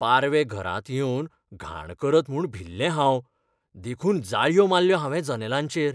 पारवे घरांत येवन घाण करत म्हूण भिल्लें हांव देखून जाळयो मारल्यो हांवें जनेलांचेर.